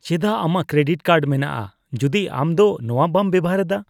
ᱪᱮᱫᱟᱜ ᱟᱢᱟᱜ credit card ᱢᱮᱱᱟᱜᱼᱟ ᱡᱩᱫᱤ ᱟᱢ ᱫᱚ ᱱᱚᱣᱟ ᱵᱟᱢ ᱵᱮᱵᱚᱦᱟᱨ ᱮᱫᱟ ?